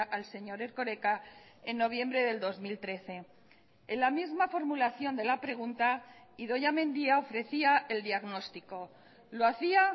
al señor erkoreka en noviembre del dos mil trece en la misma formulación de la pregunta idoia mendia ofrecía el diagnóstico lo hacía